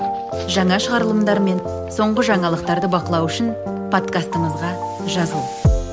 жаңа шығарымдылармен мен соңғы жаңалықтарды бақылау үшін подкастымызға жазыл